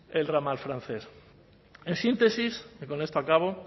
el ramal francés en síntesis que con esto acabo